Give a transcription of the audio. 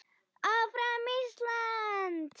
Áfram Ísland.